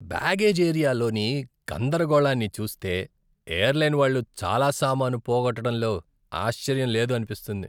Baggage ఏరియాలోని గందరగోళాన్ని చూస్తే, ఎయిర్లైన్ వాళ్ళు చాలా సామాను పోగొట్డడంలో ఆశ్చర్యం లేదు అనిపిస్తుంది.